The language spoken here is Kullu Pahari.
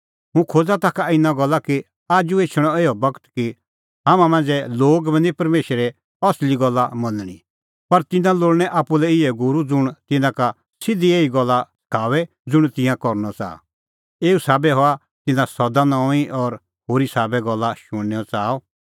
हुंह खोज़ा ताखा इना गल्ला कि आजू एछणअ इहअ बगत कि हाम्हां मांझ़ै लोगा बी निं परमेशरे असली गल्ला मनणी पर तिन्नां लोल़णैं आप्पू लै इहै गूरू ज़ुंण तिन्नां का सिधी एही गल्ला सखाओए ज़ुंण तिंयां करनअ च़ाहा एऊ साबै हआ तिन्नां सदा नऊंईं और होरी साबै गल्ला शुणनेओ च़ाअ